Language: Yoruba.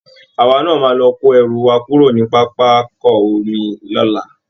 Àwa náa máa lọ kó ẹrù wa kúrò ní pápákọ omi lọ́la